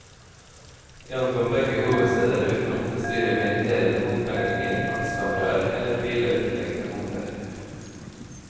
Vi ankom begge hovedsteder uten å måtte styre med irriterende bompengeringer, fartskameraer eller bilødeleggende humper.